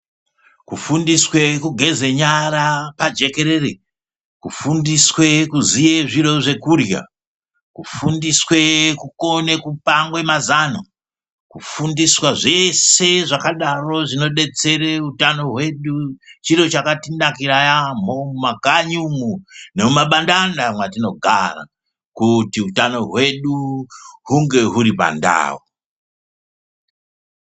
Kufundiswe kugeze nyara pajekerere, kufundiswe kuziye zviro zvekurya, kufundiswe kukone kupanga mazano kufundiswa zvese zvakadaro zvinobetsera utano wedu chiro chakatinakira yaambo mumakanyi umwoo nemumabandanda mwatinogara kuti utano wedu hunge uri pandau.